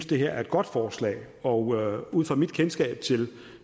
det her er et godt forslag og ud fra mit kendskab til